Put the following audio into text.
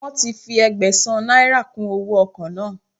Wọn ti fi Ẹgbẹ̀sán náírà kùn owóo ọkọ̀ náà.